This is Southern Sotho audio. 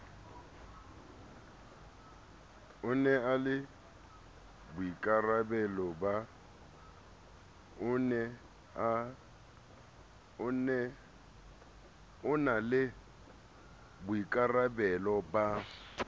e na le boikarabelo ba